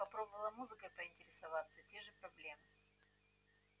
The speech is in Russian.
попробовала музыкой поинтересоваться те же проблемы